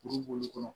Kuru b'olu kɔnɔ